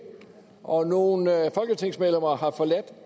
og nogle folketingsmedlemmer har forladt